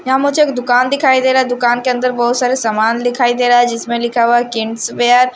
यहां मुझे एक दुकान दिखाई दे रा है दुकान के अंदर बहोत सारे सामान दिखाई दे रा है जिसमें लिखा हुआ है किड्स वेयर --